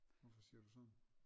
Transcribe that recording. Hvorfor siger du sådan?